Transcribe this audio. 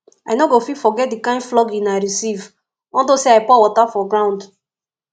i no go fit forget the kin flogging i receive unto say i pour water for ground